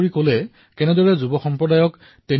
তেওঁৰ ভাষণত উপস্থিত দৰ্শকসকলে সাদৰেৰে স্বাগতম জনালে